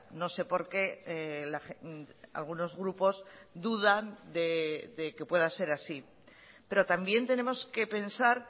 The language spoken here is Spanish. no sé por qué algunos grupos dudan de que pueda ser así pero también tenemos que pensar